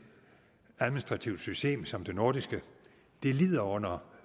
administrativt system som det nordiske lider under